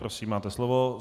Prosím, máte slovo.